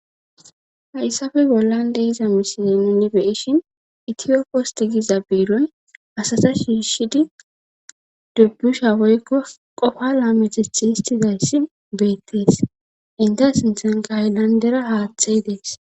hayssafe bollan de'iza misiley nuni beyishin itiyo post giza biiroy asata shiishidi dubbusha woykko qofa laame tethi histizayssi beettees inte sinthanka hayllandera haaththey dees